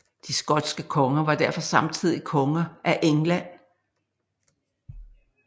De skotske konger var derfor samtidig konger af England